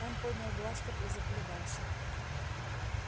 он поднял бластер и заколебался